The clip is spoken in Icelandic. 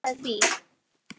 Friðrik játaði því.